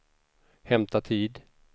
hämta tid